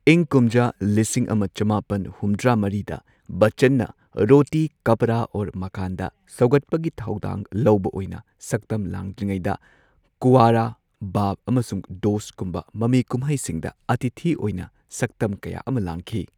ꯏꯪ ꯀꯨꯝꯖꯥ ꯂꯤꯁꯤꯡ ꯑꯃ ꯆꯃꯥꯄꯟ ꯍꯨꯝꯗ꯭ꯔꯥ ꯃꯔꯤꯗ ꯕꯆꯆꯟꯅ ꯔꯣꯇꯤ ꯀꯄ꯭ꯔꯥ ꯑꯣꯔ ꯃꯀꯥꯟꯗ ꯁꯧꯒꯠꯄꯒꯤ ꯊꯧꯗꯥꯡ ꯂꯧꯕ ꯑꯣꯏꯅ ꯁꯛꯇꯝ ꯂꯥꯡꯗ꯭ꯔꯤꯉꯩꯗ ꯀꯨꯋꯥꯔꯥ, ꯕꯥꯞ ꯑꯃꯁꯨꯡ ꯗꯣꯁꯠꯀꯨꯝꯕ ꯃꯃꯤ ꯀꯨꯝꯍꯩꯁꯤꯡꯗ ꯑꯇꯤꯊꯤ ꯑꯣꯏꯅ ꯁꯛꯇꯝ ꯀꯌꯥ ꯑꯃ ꯂꯥꯡꯈꯤ꯫